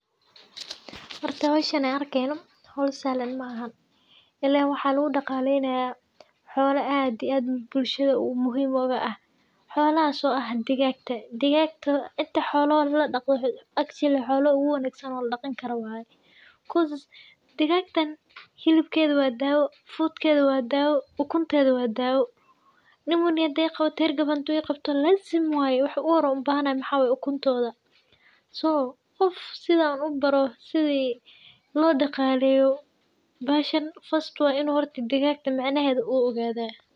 Horta howshan an arkeyno howl sahlan maaha , ilen waxaa lugudaqaleynaya xolo ad iyo ad bulshada muhim oga ah . Xolahas oo ah digagta, digagata inta xola oo ladaqdo akyida xolaha uguwanagsan ladaqan karo waye because digagtan hilibkeda wa dawo , fudkeda wa dawo , ukunteda wa dawo pneumonia haday iqawato , hergeb haduu iqabto lazim waye waxi uhore an ubahanayo waxaa waye ukuntoda , so qof sidan ubaro sidi lodaqaleyo bahashan first waxaa way in digagtan micnaheda uu ogadah.